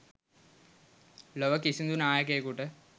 ලොව කිසිදු නායකයෙකුට,